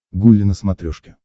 гулли на смотрешке